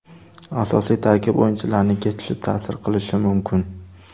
Asosiy tarkib o‘yinchilarining ketishi ta’sir qilishi mumkin.